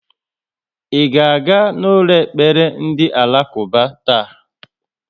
I ga-aga n'ụlọ ekpere ndị Alakuba taa?